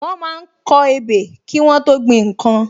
Wọ́n máa ń kọ ebè kí Wọ́n tó gbin nnkan